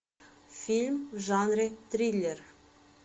фильм в жанре триллер